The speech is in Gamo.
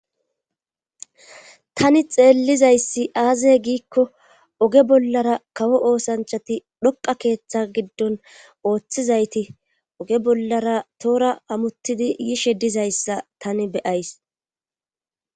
tani xeellizayssi aazaye giikko oge bollara kawo oosanchati dhoqa keeththa giddon ooththizayti oge bollara toora amuttidi yishe dizayssa tani beyays